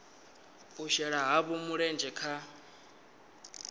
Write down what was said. u shela havho mulenzhe kha